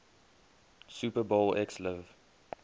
super bowl xliv